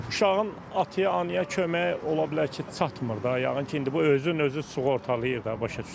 Uşağın ataya, anaya köməyi ola bilər ki, çatmır da, yəqin ki, indi bu özün özünü sığortalayır da, başa düşürsən?